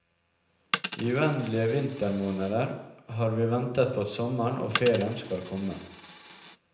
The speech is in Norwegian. I uendelige vintermåneder har vi ventet på at sommeren og ferien skal komme.